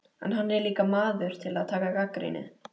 En hann er líka maður til að taka gagnrýni.